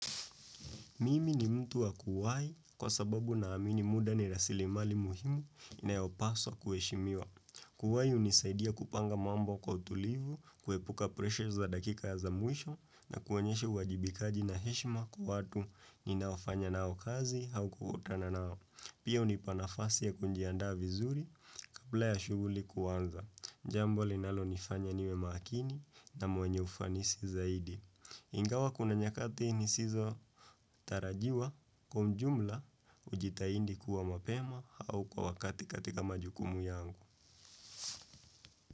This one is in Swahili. Mimi ni mtu wa kuwai kwa sababu naamini muda ni rasilimali muhimu nayopaswa kuheshimiwa. Kuwaiunisaidia kupanga mambo kwa utulivu, kuepuka pressure za dakika ya za mwisho na kuwanyeshe wajibikaji na heshima kwa watu ni naofanya nao kazi hau kuhotana nao. Pia hunipanafasi ya kujiandaa vizuri kabla ya shuguli kuwanza. Jambo linalonifanya niwe makini na mwenye ufanisi zaidi. Ingawa kuna nyakati nisizotarajiwa kwa ujumla hujitahidi kuwa mapema au kwa wakati katika majukumu yangu.